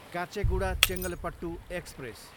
Kacheguda, Chengalpattu express